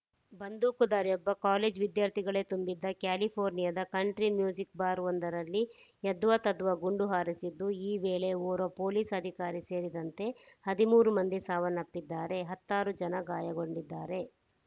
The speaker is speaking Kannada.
ಬಂದೂಕುಧಾರಿಯೊಬ್ಬ ಕಾಲೇಜು ವಿದ್ಯಾರ್ಥಿಗಳೇ ತುಂಬಿದ್ದ ಕ್ಯಾಲಿಫೋರ್ನಿಯಾದ ಕಂಟ್ರಿ ಮ್ಯೂಸಿಕ್‌ ಬಾರ್‌ ಒಂದರಲ್ಲಿ ಯದ್ವಾತದ್ವಾ ಗುಂಡು ಹಾರಿಸಿದ್ದು ಈ ವೇಳೆ ಓರ್ವ ಪೊಲೀಸ್‌ ಅಧಿಕಾರಿ ಸೇರಿದಂತೆ ಹದಿಮೂರು ಮಂದಿ ಸಾವನ್ನಪ್ಪಿದ್ದಾರೆ ಹತ್ತಾರು ಜನ ಗಾಯಗೊಂಡಿದ್ದಾರೆ